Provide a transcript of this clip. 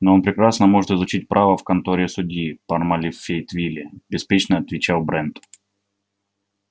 ну он прекрасно может изучить право в конторе судьи пармали в фейетвилле беспечно отвечал брент